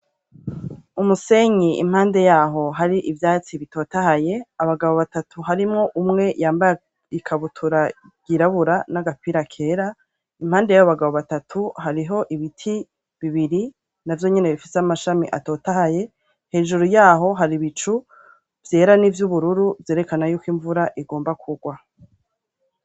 Umusenyi impande yaho hari ivyatsi bitotahaye, abagabo batatu harimwo umwe yambaye ikabutura yirabura n'agapira kera, impande yabo bagabo batatu hariho ibiti bibiri navyo nyene bifise amashami atotahaye, hejuru yaho hari ibicu vyera n'ivyubururu vyerekana yuko imvura igomba kugwa.